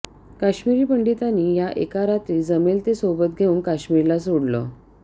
काश्मिरी पंडितांनी या एका रात्री जमेल ते सोबत घेऊन काश्मीरला सोडलं